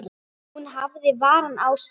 Hún hafði varann á sér.